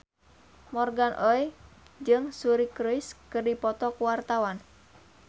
Morgan Oey jeung Suri Cruise keur dipoto ku wartawan